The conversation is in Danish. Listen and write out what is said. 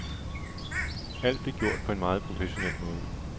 Alt blev gjort på en meget professionel måde.